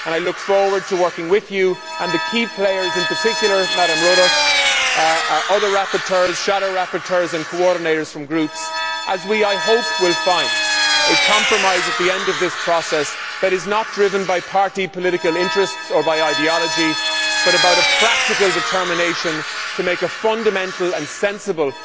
I look forward to working with you and the key players, in particular Ms Rodust, other rapporteurs, shadow rapporteurs and coordinators from groups, as we find, I hope, a compromise at the end of this process that is not driven by party political interests or by ideology but by a practical determination to make a fundamental and sensible